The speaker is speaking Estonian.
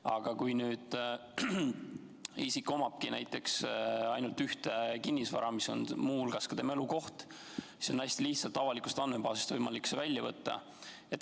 Aga kui nüüd isik omabki näiteks ainult ühte kinnisvaraobjekti, mis on muu hulgas ka tema elukoht, siis on see teave hästi lihtsalt võimalik avalikust andmebaasist välja võtta.